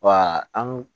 Wa an